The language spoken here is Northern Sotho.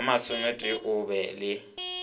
ba masomennetee o ba le